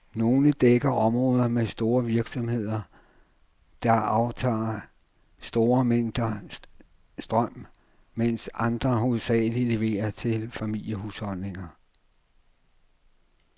Nogle dækker områder med store virksomheder, der aftager store mængder strøm, mens andre hovedsageligt leverer til familiehusholdninger.